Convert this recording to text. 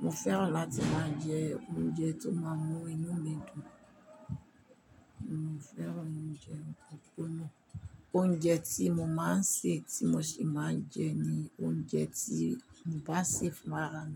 Mo féràn láti máa jẹ oúnjẹ tó máa mú inú mi dùn. Mi ò féràn oúnjẹ opọnpọ́na. Oúnjẹ tí mo máa ń sè tí mo sì máa ń jẹ ni oúnjẹ tí mo bá sè faran.